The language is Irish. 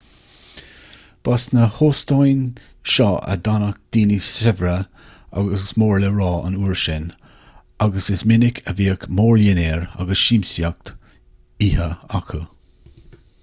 ba sna hóstáin seo a d'fhanadh daoine saibhre agus mór le rá an uair sin agus is minic a bhíodh mórdhinnéir agus siamsaíocht oíche acu